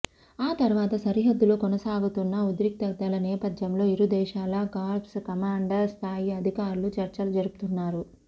ఆ తరువాత సరిహద్దులో కొనసాగుతున్న ఉద్రిక్తతల నేపథ్యంలో ఇరు దేశాల కార్ప్స్ కమాండర్ స్థాయి అధికారులు చర్చలు జరుపుతున్నారు